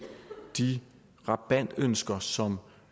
de rabatønsker som